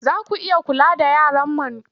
Za ku iya kula da yaran man kuwa?